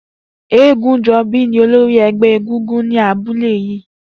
Egunjobi ni ólóri ẹgbẹ égúngún ni àbúlé yi